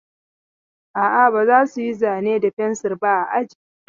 A'a, ba za su yi zane da fensir ba a aji.